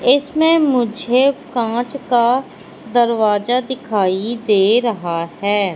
इसमें मुझे कांच का दरवाजा दिखाई दे रहा हैं।